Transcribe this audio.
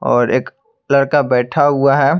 और एक लड़का बैठा हुआ है।